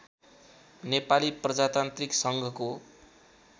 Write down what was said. नेपाली प्रजातान्त्रिक सङ्घको